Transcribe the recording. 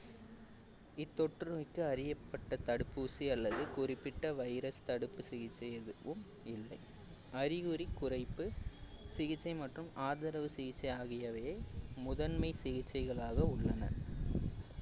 இத்தொற்று நோய்க்கு அறியப்பட்ட தடுப்பூசி அல்லது குறிப்பிட்ட virus தடுப்பு சிகிச்சை எதுவும் இல்லை அறிகுறி குறைப்பு சிகிச்சை மற்றும் ஆதரவு சிகிச்சை ஆகியவையே முதன்மை சிகிச்சைகளாக உள்ளன